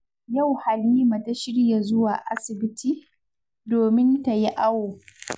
Yau Halima ta shirya zuwa asibiti, domin ta yi awo